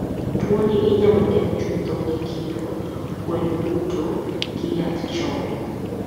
Tuo ni inyalo geng' chutho gi kingo gwen duto gi yath chon